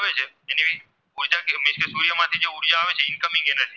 તેમાંથી જે ઉર્જા આવે Incoming Error છે